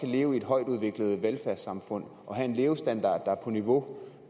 leve i et højtudviklet velfærdssamfund og have en levestandard der er på niveau